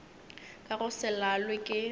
ka go se lalwe ke